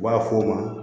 U b'a fɔ o ma